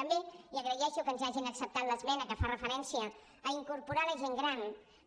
també i agraeixo que ens hagin acceptat l’esmena que fa referència a incorporar la gent gran